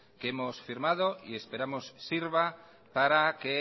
que hemos firmado y esperamos que sirva para que